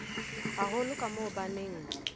haholo ka moo ba neng